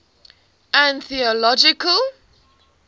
anthological